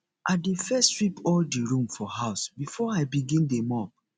i dey first sweep all di room for house before i begin dey mop